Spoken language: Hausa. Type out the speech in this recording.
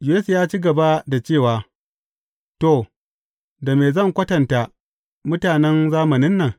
Yesu ya ci gaba da cewa, To, da me zan kwatanta mutanen zamanin nan?